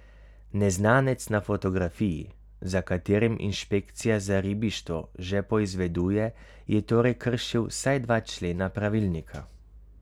Neznanec na fotografiji, za katerim inšpekcija za ribištvo že poizveduje je torej kršil vsaj dva člena pravilnika.